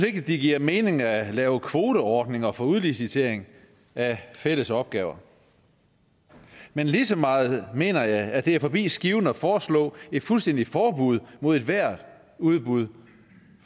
ikke det giver mening at lave kvoteordninger for udlicitering af fælles opgaver men lige så meget mener jeg at det er forbi skiven at foreslå et fuldstændigt forbud mod ethvert udbud